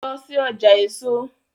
Lọ sí ọjà èso!